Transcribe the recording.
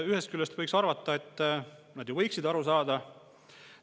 Ühest küljest võiks arvata, et nad ju võiksid aru saada.